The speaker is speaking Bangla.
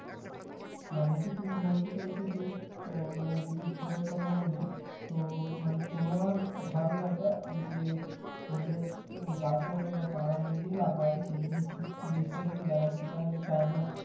মানে কি তুমি বলতে চাইছো যে আহ মানে যদি ফুলের কথা বলি তো মানে তোমার ধারণা এটা যে ফুলের গাছ হয়তো বা চারা যদি লাগাই সেই বীজ বীজটা যদি লাগাই সেটা হয়তো চারা